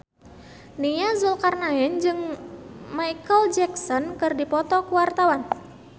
Nia Zulkarnaen jeung Micheal Jackson keur dipoto ku wartawan